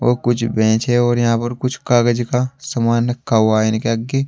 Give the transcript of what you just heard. वो कुछ बेंच है और यहां पर कुछ कागज का सामान रखा हुआ है इनके आगे।